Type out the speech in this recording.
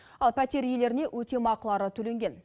ал пәтер иелеріне өтемақылары төленген